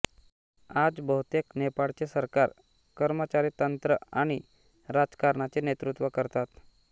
आज बहुतेक नेपाळचे सरकार कर्मचारीतंत्र आणि राजकारणाचे नेतृत्व करतात